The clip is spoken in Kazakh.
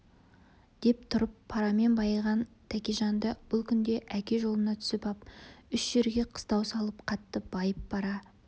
деп тұрып парамен байыған тәкежанды бұл күнде әке жолына түсіп ап үш жерге қыстау салып қатты байып бара